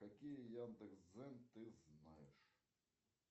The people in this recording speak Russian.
какие яндекс дзен ты знаешь